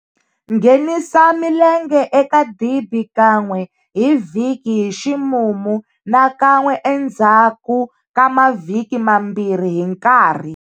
Nghenisa milenge eka dibi kan'we hi vhiki hi ximumu na kan'we endzhaku ka mavhiki mambirhi hi nkarhi.